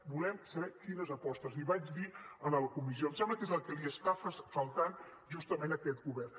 volem saber quines apostes li vaig dir en la comissió i em sembla que és el que li està faltant justament a aquest govern